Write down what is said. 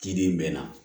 Kidi mɛ